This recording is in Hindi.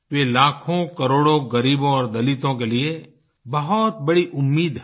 वे लाखोंकरोड़ों ग़रीबों और दलितों के लिए बहुत बड़ी उम्मीद हैं